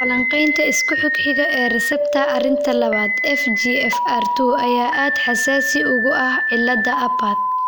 Falanqaynta isku xigxiga ee receptor arinta labad (FGFR two) ayaa aad xasaasi ugu ah cillada Apert.